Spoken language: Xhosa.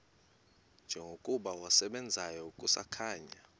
njengokuba wasebenzayo kusakhanya